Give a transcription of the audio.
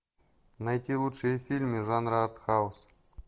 найти лучшие фильмы жанра арт хаус